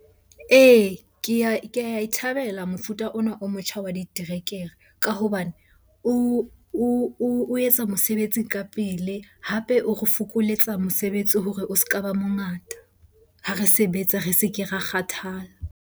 Ee, ke ae thabela mofuta ona o motjha wa diterekere ka hobane o etsa mosebetsi ka pele. Hape o re fokoletsa mosebetsi hore o ska ba mongata. Ha re sebetsa re se ke ra kgathala.